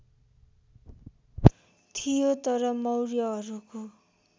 थियो तर मौर्यहरूको